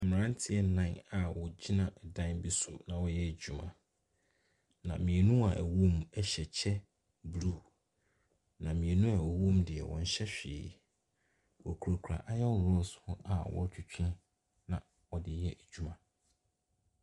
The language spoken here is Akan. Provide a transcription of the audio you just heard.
Mmranteɛ nnan a wogyina dan bi so na wɔyɛ adwuma. Na mmienu a ɛwom ɛhyɛ ɛkyɛ blu. Na mmienu a wɔwɔ mu deɛ wɔnhyɛ hwee. Wokura kura ayɔn rɔds a wotwetwe na wɔde yɛ adwuma no.